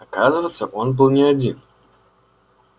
оказывается он был не один